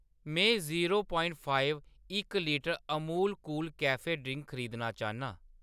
मैं zero point five इक litre Amul cool cafe drink खरीदना चाह्‌न्नां।